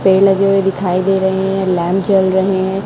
पेड़ लगे हुए दिखाई दे रहे हैं लैंप जल रहे है।